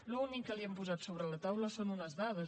l’únic que li hem posat sobre la taula són unes dades